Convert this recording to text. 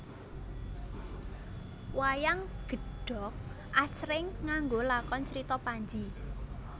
Wayang gedhog asring nganggo lakon Crita Panji